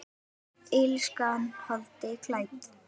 Illskan holdi klædd?